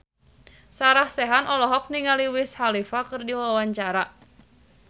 Sarah Sechan olohok ningali Wiz Khalifa keur diwawancara